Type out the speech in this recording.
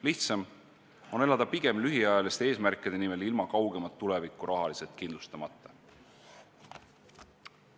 Lihtsam on elada pigem lühiajaliste eesmärkide nimel ilma kaugemat tulevikku rahaliselt kindlustamata.